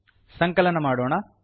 ಸಂಕಲನ ಮಾಡೋಣ